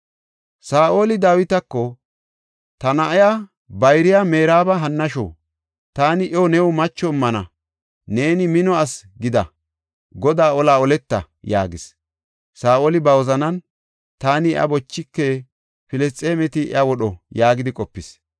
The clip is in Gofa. Saa7oli Dawitako, “Ta na7a bayriya Meraaba hannashu; taani iyo new macho immana; neeni mino asi gida; Godaa olaa oleta” yaagis. Saa7oli ba wozanan, “Taani iya bochike; Filisxeemeti iya wodho” yaagidi qopis.